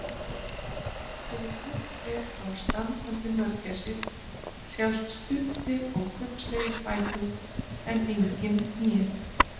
Þegar horft er á standandi mörgæsir sjást stuttir og kubbslegir fætur en engin hné.